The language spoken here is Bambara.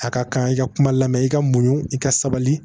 A ka kan i ka kuma lamɛ i ka muɲu i ka sabali